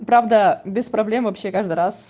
правда без проблем вообще каждый раз